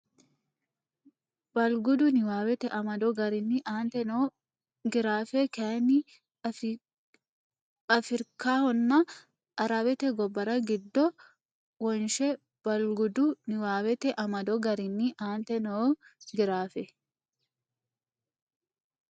Balgudu niwaawete amado garinni aante noo giraafe kayinni Afirikahonna Arawete gobbara giddo wonshe Balgudu niwaawete amado garinni aante noo giraafe.